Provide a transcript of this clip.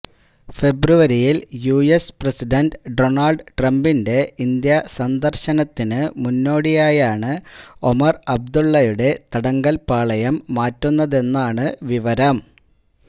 ഫെബ്രുവരിയില് US president Donald ട്രംപിന്റെ India സന്ദര്ശനത്തിന് മുന്നോടിയായാണ് ഒമര് അബ്ദുല്ലയുടെ തടങ്കല്പാളയം മാറ്റുന്നതെന്നാണ് വിവരം